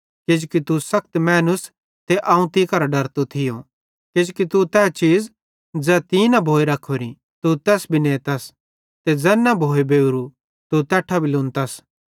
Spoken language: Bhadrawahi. किजोकि तू सखत मैनूस ते अवं तीं करां डरतो थियो किजोकि तू तै चीज़ ज़ै तीं न भोए रखोरी तू तैस भी नेतस ते ज़ैन न भोए बेवरू तू तैन भी लुनतस